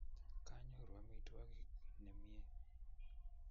kanyoru amitwokig nemie